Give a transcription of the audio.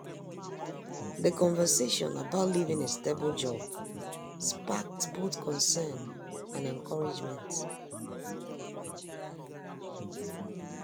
The conversation about leaving a stable job sparked both concern and encouragement.